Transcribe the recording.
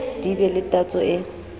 di be le tatso e